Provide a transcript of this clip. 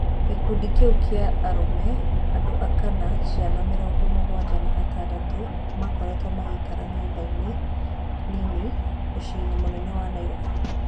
Gĩkundi kĩu kĩa arũme, andũ aka na ciana mĩrongo mũgwanja na atandatũ makoretwo magĩikara nyũmbainĩ nini muciĩinĩ mũnene wa Nairobi.